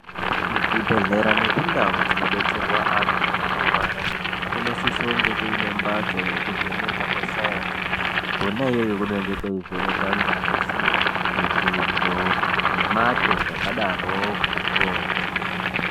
Kuzvibhedhlera nekundau dzinobetserwa antu anorwara kunosisonge kuine mbatso yekuvheneka kwesaenzi. Kona iyoyo kunenge kweivhenekwa ngazi, mitundo nemate zvakadaroko.